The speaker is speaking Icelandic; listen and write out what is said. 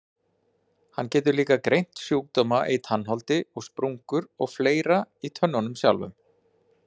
Hann getur líka greint sjúkdóma í tannholdi og sprungur og fleira í tönnunum sjálfum.